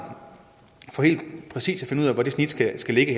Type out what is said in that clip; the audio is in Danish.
for helt præcis at finde ud af hvor snittet skal ligge